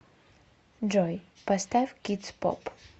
джой поставь кидс поп